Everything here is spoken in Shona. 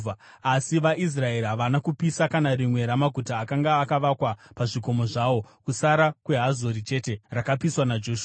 Asi vaIsraeri havana kupisa kana rimwe ramaguta akanga akavakwa pazvikomo zvavo, kusara kweHazori chete, rakapiswa naJoshua.